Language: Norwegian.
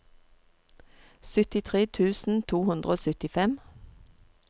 syttitre tusen to hundre og syttifem